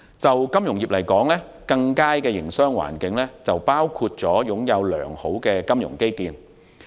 對金融業而言，更佳的營商環境包括擁有良好的金融基建。